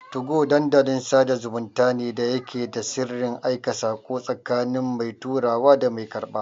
2go Dandalin sada zumunta ne da yake da sirrin aika sako, tsakanin mai turawa da mai karɓa.